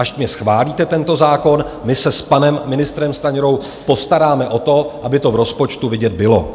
Až mi schválíte tento zákon, my se s panem ministrem Stanjurou postaráme o to, aby to v rozpočtu vidět bylo.